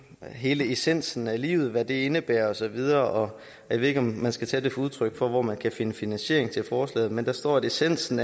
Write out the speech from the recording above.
hvad hele essensen af livet indebærer og så videre jeg ved ikke om man skal tage det som udtryk for hvor man kan finde finansiering til forslaget men der står at essensen